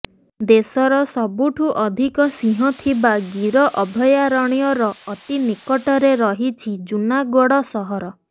ଦେଶର ସବୁଠୁ ଅଧିକ ସିଂହ ଥିବା ଗୀର ଅଭୟାରଣ୍ୟର ଅତି ନିକଟରେ ରହିଛି ଜୁନାଗଡ଼ ସହର